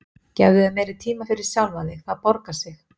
Gefðu þér meiri tíma fyrir sjálfan þig, það borgar sig.